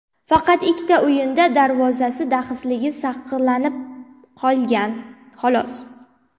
Faqat ikkita o‘yinda darvozasi daxlsizligini saqlab qolgan, xolos.